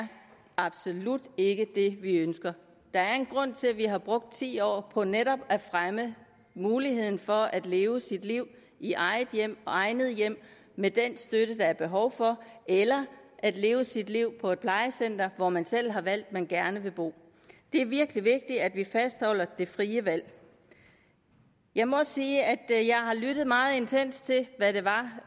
absolut ikke det vi ønsker der er en grund til at vi har brugt ti år på netop at fremme muligheden for at leve sit liv i eget hjem og egnet hjem med den støtte der er behov for eller at leve sit liv på et plejecenter hvor man selv har valgt man gerne vil bo det er virkelig vigtigt at vi fastholder det frie valg jeg må også sige at jeg har lyttet meget intenst til